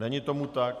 Není tomu tak.